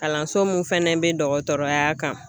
Kalanso min fɛnɛ be dɔgɔtɔrɔya kan